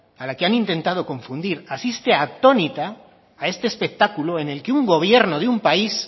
a la que han intentado confundir asiste atónita a este espectáculo en el que un gobierno de un país